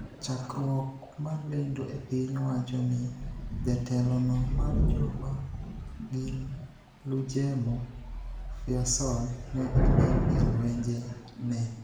chakruok mar lendo e piny wacho ni jatelo no mar jo ma gin lujemo Fiasal ne oneg e lwenje ne